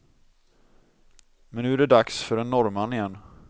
Men nu är det dags för en norrman igen.